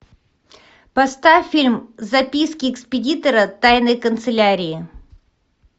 поставь фильм записки экспедитора тайной канцелярии